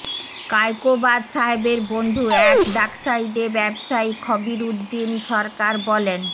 কায়কোবাদ সাহেবের বন্ধু এক ডাকসাইটে ব্যবসায়ী খবিরউদদিন সরকার বলেন